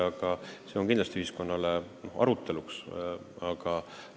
Aga see teema on kindlasti väärt ühiskonnas arutada.